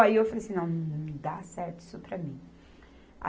Aí eu falei assim, não, não dá certo isso para mim.